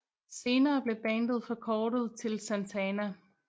Senere blev bandet forkortet til Santana